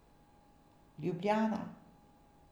Ljubljana.